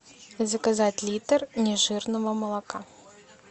заказать литр нежирного молока